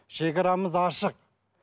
шегарамыз ашық